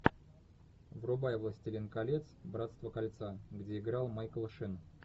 врубай властелин колец братство кольца где играл майкл шин